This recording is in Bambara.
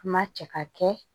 An ma cɛ ka kɛ